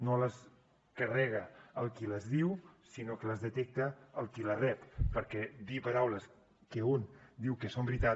no les carrega el qui les diu sinó que les detecta el qui les rep perquè dir paraules que un diu que són veritat